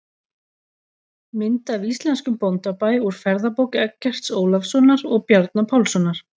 Mynd af íslenskum bóndabæ úr ferðabók Eggerts Ólafssonar og Bjarna Pálssonar.